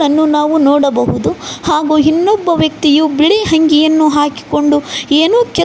ಅನ್ನು ನಾವು ನೋಡಬಹುದು ಹಾಗು ಇನ್ನೊಬ್ಬ ವ್ಯಕ್ತಿಯು ಬಿಳಿ ಅಂಗಿಯನ್ನು ಹಾಕಿಕೊಂಡು ಏನೂ--